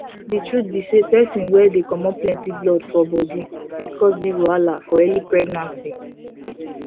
the truth be say persin wey dey comot plenty blood for body fit cause big wahala for early pregnancy